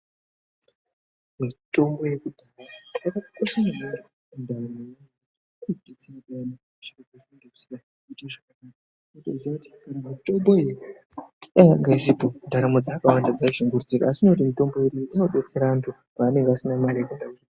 Mitombo yekudhaya yakakosha maningi mundaramo yedu. Inobetsera peyana zviro pazvinenge zvisina kuite zvakanaka. Wotoziva kuti kana mitombo iyi dai yanga isipo, ndaramo dzakawanda dzai shungurudzika, asi nekuti mitombo yedu iyi inodetsera antu paanenge asina mare yekuenda kuzvi....